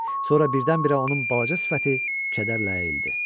Sonra birdən-birə onun balaca sifəti kədərlə əyildi.